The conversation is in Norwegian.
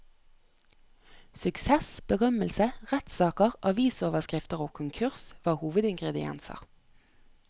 Suksess, berømmelse, rettssaker, avisoverskrifter og konkurs var hovedingredienser.